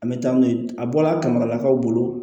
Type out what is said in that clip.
An bɛ taa n'u ye a bɔla kama lakaw bolo